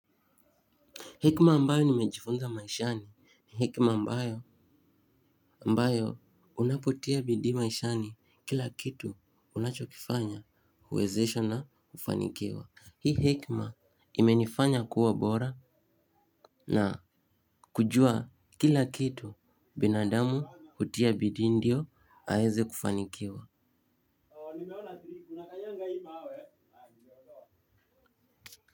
Hekima ambayo nimejifunza maishani ni hekima ambayo ambayo unapotia bidii maishani kila kitu unachokifanya huwezeshwa na hufanikiwa. Hii hekima imenifanya kuwa bora na kujua kila kitu binadamu hutia bidii ndio aeze kufanikiwa.